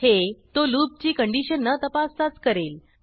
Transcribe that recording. हे तो लूपची कंडिशन न तपासताच करेल